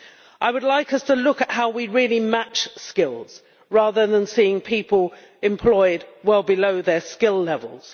I would like us to look at how we really match skills rather than seeing people employed well below their skill levels.